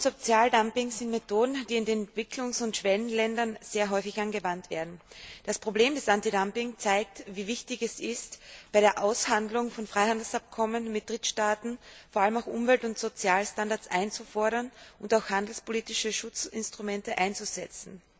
Lohn und Sozialdumping sind Methoden, die in den Entwicklungs und Schwellenländern sehr häufig angewandt werden. Das Problem des Antidumping zeigt, wie wichtig es ist, bei der Aushandlung von Freihandelsabkommen mit Drittstaaten vor allem auch Umwelt und Sozialstandards einzufordern und auch handelspolitische Schutzinstrumente einzusetzen.